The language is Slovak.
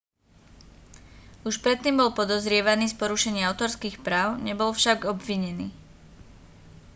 už predtým bol podozrievaný z porušenia autorských práv nebol však obvinený